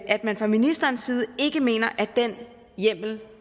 at man fra ministerens side ikke mener at den hjemmel